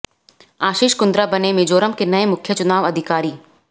आशीष कुंद्रा बने मिजोरम के नये मुख्य चुनाव अधिकारी